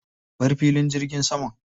Bar filin jirgin saman.